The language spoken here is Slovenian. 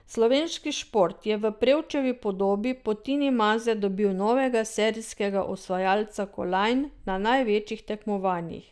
Slovenski šport je v Prevčevi podobi po Tini Maze dobil novega serijskega osvajalca kolajn na največjih tekmovanjih.